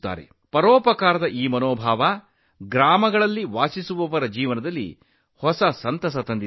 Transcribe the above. ಈ ಪರೋಪಕಾರದ ಮನೋಭಾವವು ಹಳ್ಳಿಗಳಲ್ಲಿ ವಾಸಿಸುವ ಜನರ ಜೀವನದಲ್ಲಿ ಹೊಸ ಸಂತೋಷವನ್ನು ತಂದಿದೆ